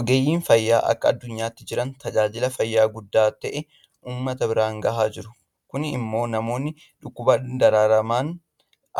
Ogeeyyiin fayyaa akka addunyaatti jiran tajaajila fayyaa guddaa ta'e uummata biraan gahaa jiru. Kun immoo namoonni dhukkubaan dararaman